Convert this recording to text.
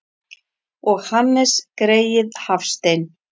Og Hannes greyið Hafstein!